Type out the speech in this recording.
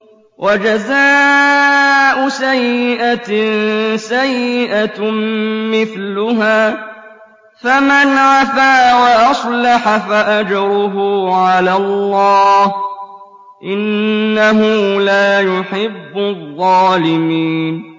وَجَزَاءُ سَيِّئَةٍ سَيِّئَةٌ مِّثْلُهَا ۖ فَمَنْ عَفَا وَأَصْلَحَ فَأَجْرُهُ عَلَى اللَّهِ ۚ إِنَّهُ لَا يُحِبُّ الظَّالِمِينَ